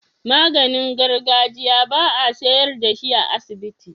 Maganin gargajiya ba a siyar dashi a asibiti